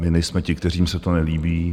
My nejsme ti, kterým se to nelíbí.